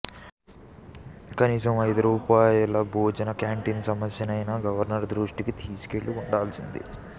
కనీసం అయిదు రూపాయల భోజన క్యాంటీన్ల సమస్యనైనా గవర్నరు దృష్టికి తీసుకెళ్లి ఉండాల్సింది